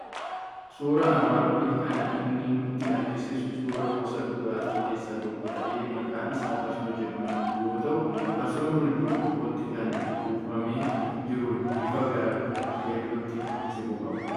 Suuraan armaan olii kan inni nutti argisiisu suuraa gosa dhugaatii keessaa tokko ta'e, maqaan isaa farsoo mjedhamu yoo ta'u, farsoon kun burcuqqootti kan buufamee jirudha. Bifa gara keellootti siqu qaba.